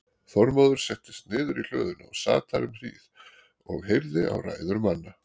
Þormóður settist niður í hlöðunni og sat þar um hríð og heyrði á ræður manna.